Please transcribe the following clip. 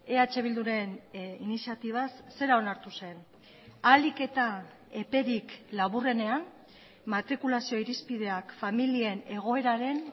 eh bilduren iniziatibaz zera onartu zen ahalik eta eperik laburrenean matrikulazio irizpideak familien egoeraren